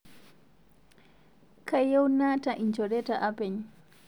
Kayieu naata lnjoreta apeny